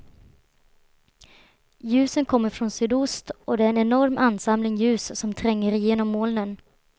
Ljusen kommer från sydost och det är en enorm ansamling ljus som tränger igenom molnen.